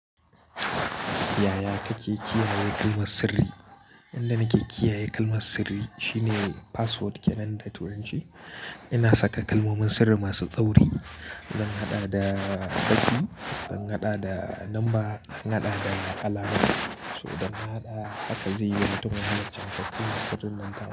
Yaya kake kiyaye kalmar sirri? Inda nake kiyaye kalmar sirri shine password kenan da turanci. Ina saka kalmomin sirri masu tsauri. Zan haɗa da baƙi, zan haɗa da number, zan haɗa da alamar, so zan haɗa haka zai yiwu domin halarci matakin sirrin nan ka.